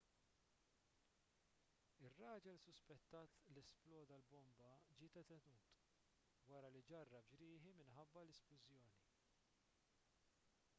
ir-raġel suspettat li sploda l-bomba ġie detenut wara li ġarrab ġrieħi minħabba l-isplużjoni